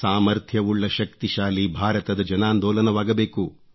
ಸಾಮಥ್ರ್ಯವುಳ್ಳ ಶಕ್ತಿಶಾಲಿ ಭಾರತದ ಜನಾಂದೋಲನವಾಗಬೇಕು